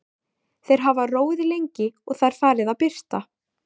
Þeir hafa róið lengi og Það er farið að birta.